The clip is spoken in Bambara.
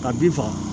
Ka bin faga